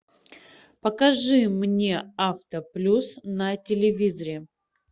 покажи мне авто плюс на телевизоре